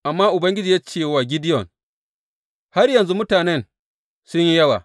Amma Ubangiji ya ce wa Gideyon, Har yanzu mutanen sun yi yawa.